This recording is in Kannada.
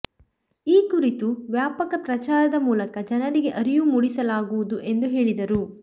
ಈ ಕುರಿತು ವ್ಯಾಪಾಕ ಪ್ರಚಾರದ ಮೂಲಕ ಜನರಿಗೆ ಅರಿವು ಮೂಡಿಸಲಾಗುವುದು ಎಂದು ಹೇಳಿದರು